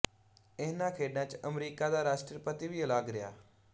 ਇਹਨਾਂ ਖੇਡਾਂ ਚ ਅਮਰੀਕਾ ਦਾ ਰਾਸ਼ਟਰਪਤੀ ਵੀ ਅਲੱਗ ਰਿਹਾ